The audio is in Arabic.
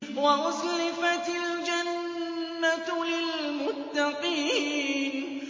وَأُزْلِفَتِ الْجَنَّةُ لِلْمُتَّقِينَ